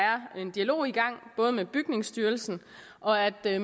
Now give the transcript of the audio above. er en dialog i gang med bygningsstyrelsen og at